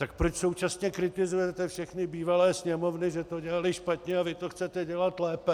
Tak proč současně kritizujete všechny bývalé Sněmovny, že to dělaly špatně, a vy to chcete dělat lépe?